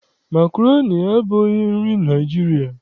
Makroni abụghị nri Naịjirịa.